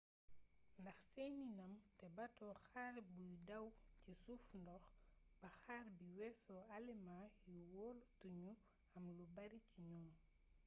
ndax seeni ndam te bato xare buy daw ci suufu ndox ba xare bi weesoo alëmaa yi wolotuñu am lubaari ci ñoom